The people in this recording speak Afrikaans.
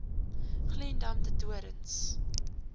glendam de doorns